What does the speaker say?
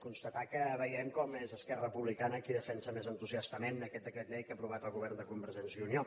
constatar que veiem com és esquerra republicana qui defensa més entusiastament aquest decret llei que ha aprovat el govern de convergència i unió